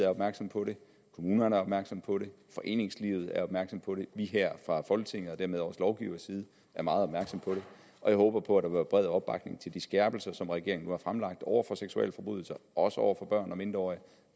er opmærksom på det kommunerne er opmærksom på det foreningslivet er opmærksom på det vi her fra folketingets side og dermed også lovgivende side er meget opmærksom på det og jeg håber på at være bred opbakning til de skærpelser som regeringen har fremlagt over for seksualforbrydelser også over for børn og mindreårige